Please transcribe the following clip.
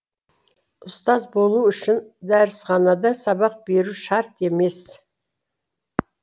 ұстаз болу үшін дәрісханада сабақ беру шарт емес